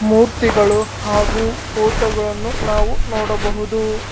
ಮೂರ್ತಿಗಳು ಹಾಗು ಪೋಟೋಗಳನ್ನು ನಾವು ನೋಡಬಹುದು.